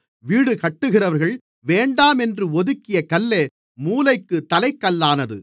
வீடுகட்டுகிறவர்கள் வேண்டாம் என்று ஒதுக்கிய கல்லே மூலைக்குத் தலைக்கல்லானது